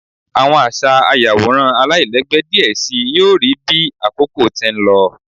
Awọn aṣa ayaworan alailẹgbẹ diẹ sii yoo rii bi akoko ti n lọ